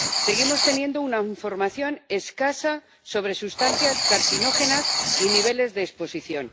Seguimos teniendo una información escasa sobre sustancias carcinógenas y niveles de exposición.